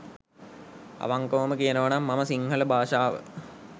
අවංකවම කියනවනම් මම සිංහල භාෂාව